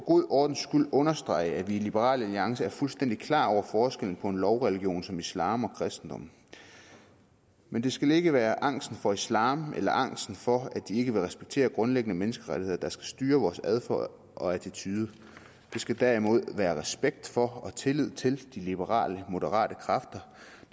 god ordens skyld understrege at vi i liberal alliance er fuldstændig klar over forskellen på en lovreligion som islam og kristendommen men det skal ikke være angsten for islam eller angsten for at de ikke vil respektere grundlæggende menneskerettigheder der skal styre vores adfærd og attituder vi skal derimod have respekt for og tillid til de liberale moderate kræfter